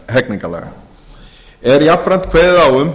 hegningarlaga er jafnframt kveðið á um